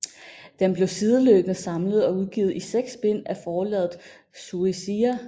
Den blev sideløbende samlet og udgivet i seks bind af forlaget Shueisha